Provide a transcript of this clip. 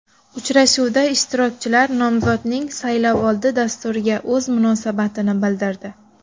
Uchrashuvda ishtirokchilar nomzodning saylovoldi dasturiga o‘z munosabatini bildirdi.